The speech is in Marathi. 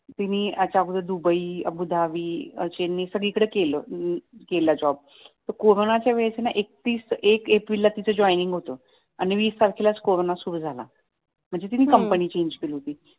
तिने असं आपलं दुबई अबुदाबी तिने असे सगळीकडे केलं केला जॉब तर कोरोनाच्या वेळेस ना तीच एकतीस एक ला तीच जॉइनिंग होत आणि वीस तारखेलाच कोरोना सुरु झाला हम्म म्हणजे तिने कंपनी चेंज केली होती